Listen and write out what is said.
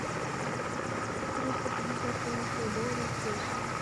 триста пятьдесят канадских долларов в песо